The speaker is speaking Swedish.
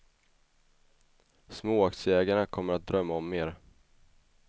Småaktieägarna kommer att drömma om mer.